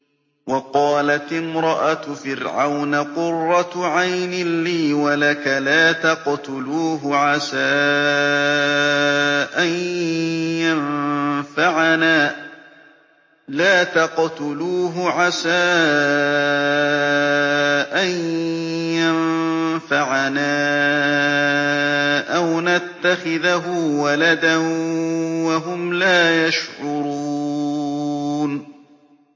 وَقَالَتِ امْرَأَتُ فِرْعَوْنَ قُرَّتُ عَيْنٍ لِّي وَلَكَ ۖ لَا تَقْتُلُوهُ عَسَىٰ أَن يَنفَعَنَا أَوْ نَتَّخِذَهُ وَلَدًا وَهُمْ لَا يَشْعُرُونَ